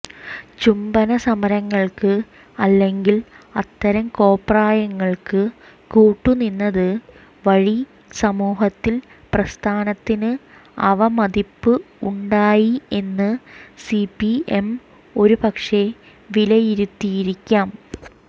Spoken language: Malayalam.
ചുംബന സമരങ്ങൾക്ക് അല്ലെങ്കിൽ അത്തരം കോപ്രായങ്ങൾക്ക് കൂട്ടുനിന്നത് വഴി സമൂഹത്തിൽ പ്രസ്ഥാനത്തിന് അവമതിപ്പ് ഉണ്ടായി എന്ന് സിപിഎം ഒരുപക്ഷെ വിലയിരുത്തിയിരിക്കാം